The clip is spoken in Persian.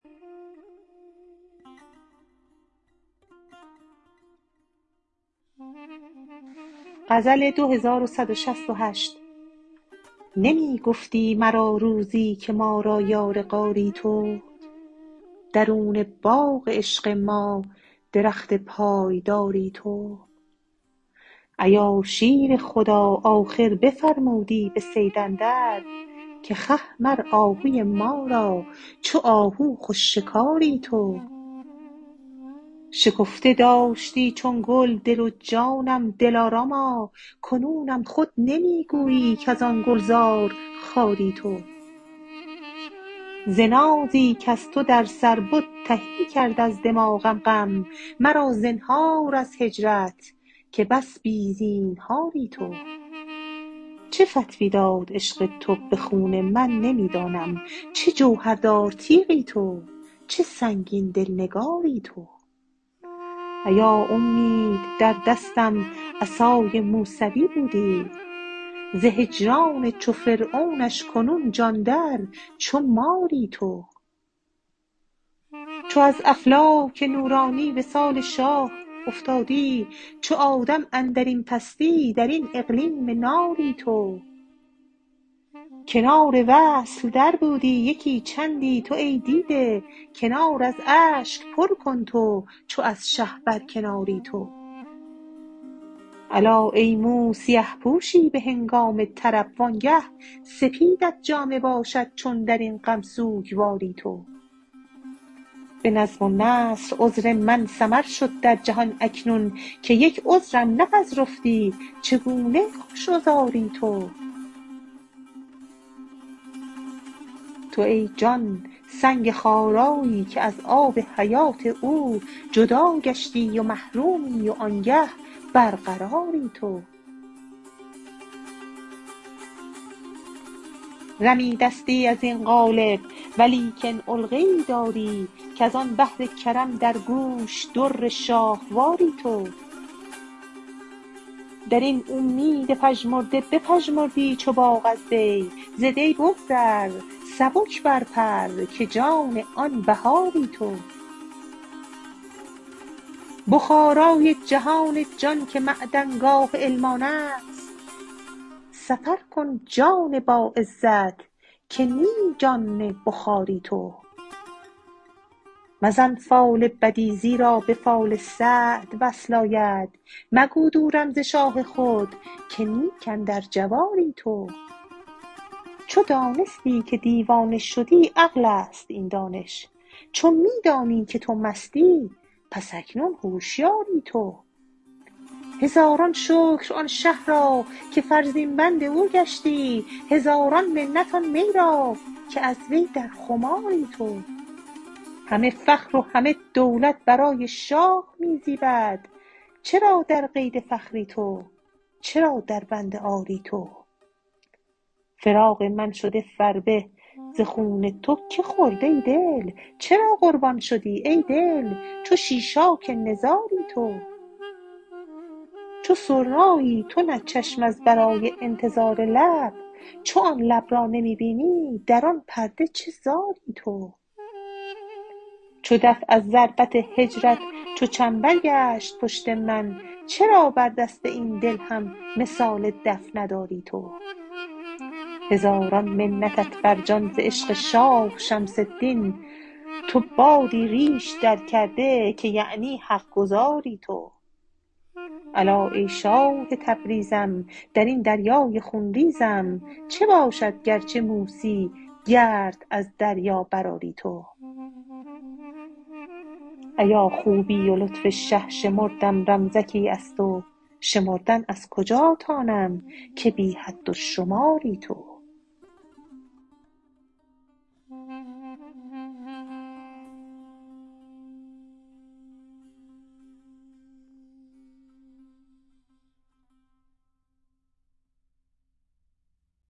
نمی گفتی مرا روزی که ما را یار غاری تو درون باغ عشق ما درخت پایداری تو ایا شیر خدا آخر بفرمودی به صید اندر که خه مر آهوی ما را چو آهو خوش شکاری تو شکفته داشتی چون گل دل و جانم دلاراما کنونم خود نمی گویی کز آن گلزار خاری تو ز نازی کز تو در سر بد تهی کرد از دماغم غم مرا زنهار از هجرت که بس بی زینهاری تو چو فتوی داد عشق تو به خون من نمی دانم چه جوهردار تیغی تو چه سنگین دل نگاری تو ایا اومید در دستم عصای موسوی بودی ز هجران چو فرعونش کنون جان در چو ماری تو چو از افلاک نورانی وصال شاه افتادی چو آدم اندر این پستی در این اقلیم ناری تو کنار وصل دربودی یکی چندی تو ای دیده کنار از اشک پر کن تو چو از شه برکناری تو الا ای مو سیه پوشی به هنگام طرب وآنگه سپیدت جامه باشد چون در این غم سوگواری تو به نظم و نثر عذر من سمر شد در جهان اکنون که یک عذرم نپذرفتی چگونه خوش عذاری تو تو ای جان سنگ خارایی که از آب حیات او جدا گشتی و محرومی وآنگه برقراری تو رمیدستی از این قالب ولیکن علقه ای داری کز آن بحر کرم در گوش در شاهواری تو در این اومید پژمرده بپژمردی چو باغ از دی ز دی بگذر سبک برپر که نی جان بهاری تو بخارای جهان جان که معدنگاه علم آن است سفر کن جان باعزت که نی جان بخاری تو مزن فال بدی زیرا به فال سعد وصل آید مگو دورم ز شاه خود که نیک اندر جواری تو چو دانستی که دیوانه شدی عقل است این دانش چو می دانی که تو مستی پس اکنون هشیاری تو هزاران شکر آن شه را که فرزین بند او گشتی هزاران منت آن می را که از وی در خماری تو همه فخر و همه دولت برای شاه می زیبد چرا در قید فخری تو چرا دربند عاری تو فراق من شده فربه ز خون تو که خورد ای دل چرا قربان شدی ای دل چو شیشاک نزاری تو چو سرنایی تو نه چشم از برای انتظار لب چو آن لب را نمی بینی در آن پرده چه زاری تو چو دف از ضربت هجرت چو چنبر گشت پشت من چرا بر دست این دل هم مثال دف نداری تو هزاران منتت بر جان ز عشق شاه شمس الدین تو بادی ریش درکرده که یعنی حق گزاری تو الا ای شاه تبریزم در این دریای خون ریزم چه باشد گر چو موسی گرد از دریا برآری تو ایا خوبی و لطف شه شمردم رمزکی از تو شمردن از کجا تانم که بی حد و شماری تو